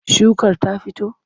Shukar ta fito?